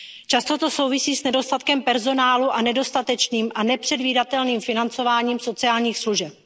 péči. Často to souvisí s nedostatkem personálu a nedostatečným a nepředvídatelným financováním sociálních služeb.